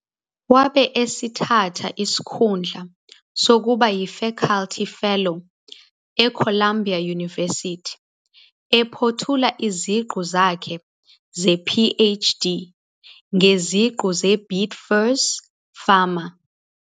Wabe esethatha isikhundla sokuba yiFakhalthi Fellow eColumbia University, ephothula iziqu zakhe ze-PhD ngeziqu ze-Beat Fur's's FAMA.